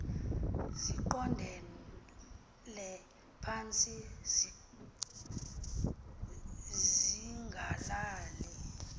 ziqondele phantsi zingalali